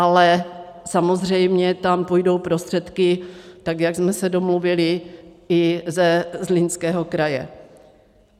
Ale samozřejmě tam půjdou prostředky, tak jak jsme se domluvili, i ze Zlínského kraje.